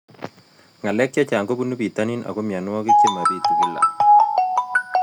Ng'alek chechang' kopunu pitonin ako mianwogik che mapitu kila